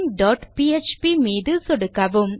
missingபிஎச்பி மீது சொடுக்கவும்